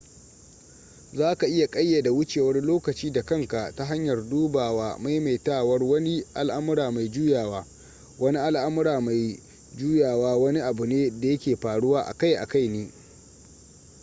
za ka iya ƙayyade wucewar lokaci da kanka ta hanyar dubawa maimaitawaar wani al'amura mai juyawa wani al'amura mai juawa wani abu ne da yake faruwa akai-akai ne